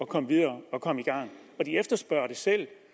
komme videre og komme i gang de efterspørger det selv